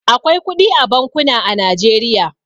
Akwai kudi a bankuna a Najeriya.